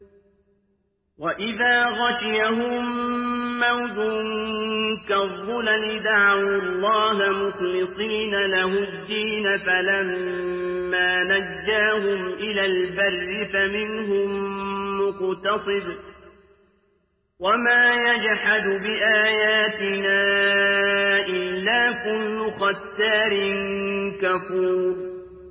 وَإِذَا غَشِيَهُم مَّوْجٌ كَالظُّلَلِ دَعَوُا اللَّهَ مُخْلِصِينَ لَهُ الدِّينَ فَلَمَّا نَجَّاهُمْ إِلَى الْبَرِّ فَمِنْهُم مُّقْتَصِدٌ ۚ وَمَا يَجْحَدُ بِآيَاتِنَا إِلَّا كُلُّ خَتَّارٍ كَفُورٍ